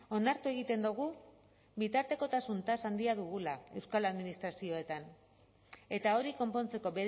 onartu egiten dugu bitartekotasun tasa handia dugula euskal administrazioetan eta hori konpontzeko